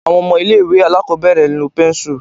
Àwọn ọmọ ilé ìwé aláàkọ́bẹ̀rẹ̀ ń lo pẹ́nsù